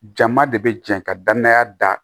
Jama de bɛ jɛ ka danaya da